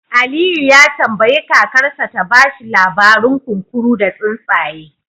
Aliyu ya tambayi kakarsa ta ba shi labarin kunkuru da tsuntsaye